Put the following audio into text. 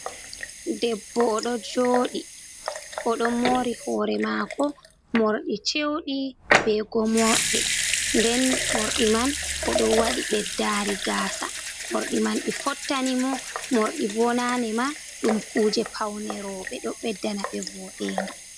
Debbo o ɗo jooɗi, o ɗo moori hoore maako, morɗi chewɗi, be gomooɗe. Nden morɗi man o ɗo waɗi ɓeddaari gaasa, morɗi man ɗi fottani mo, morɗi bo naane ma ɗum kuuje pawne roɓe, ɗo ɓeddana ɓe voodɗenga.